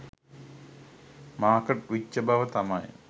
market වෙච්ච බව තමයි